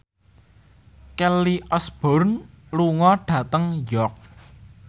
Kelly Osbourne lunga dhateng York